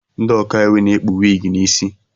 Ndị ọkaiwu na-ekpu wiigi n'osi.